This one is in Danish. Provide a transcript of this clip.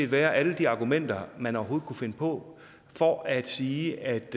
være alle de argumenter man overhovedet kunne finde på for at sige at